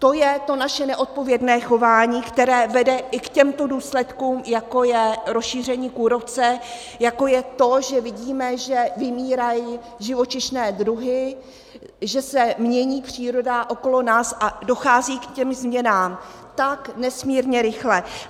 To je to naše neodpovědné chování, které vede i k těmto důsledkům, jako je rozšíření kůrovce, jako je to, že vidíme, že vymírají živočišné druhy, že se mění příroda okolo nás a dochází k těm změnám tak nesmírně rychle.